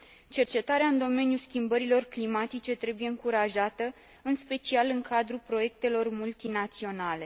Cercetarea în domeniul schimbărilor climatice trebuie încurajată, în special în cadrul proiectelor multinaționale.